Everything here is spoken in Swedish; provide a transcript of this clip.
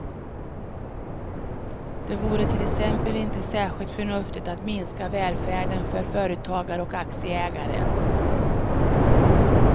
Det vore till exempel inte särskilt förnuftigt att minska välfärden för företagare och aktieägare.